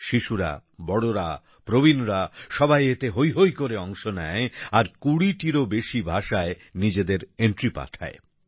শিশুরা বড়রা প্রবীণরা সবাই এতে হৈ হৈ করে অংশ নেয় আর কুড়িটিরও বেশি ভাষায় নিজেদের এন্ট্রি পাঠায়